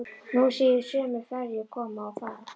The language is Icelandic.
Nú sé ég sömu ferju koma og fara.